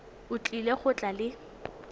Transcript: o tlile go tla le